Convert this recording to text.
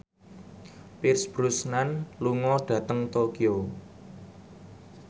Pierce Brosnan lunga dhateng Tokyo